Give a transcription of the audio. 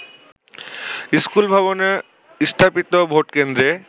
স্কুলভবনে স্থাপিত ভোটকেন্দ্রে